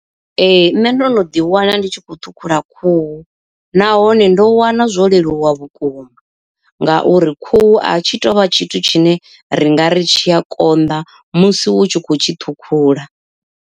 Ee nṋe ndo no ḓi wana ndi tshi khou ṱhukhula khuhu, nahone ndo wana zwo leluwa vhukuma ngauri khuhu a tshi tovha tshithu tshine ri nga ri tshi a konḓa musi u tshi khou tshi ṱhukhula.